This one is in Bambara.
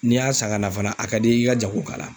N'i y'a san ka na fana, a ka di i ka jago k'a la.